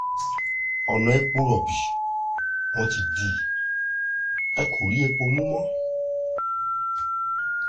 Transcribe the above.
ọ̀nà epo rọ̀bì wọn ti dì í ẹ̀ kò rí epo mú mọ́